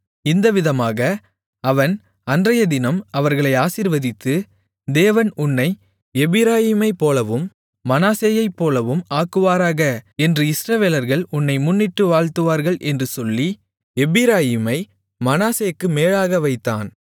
இந்த விதமாக அவன் அன்றையதினம் அவர்களை ஆசீர்வதித்து தேவன் உன்னை எப்பிராயீமைப்போலவும் மனாசேயைப்போலவும் ஆக்குவாராக என்று இஸ்ரவேலர்கள் உன்னை முன்னிட்டு வாழ்த்துவார்கள் என்று சொல்லி எப்பிராயீமை மனாசேக்கு மேலாக வைத்தான்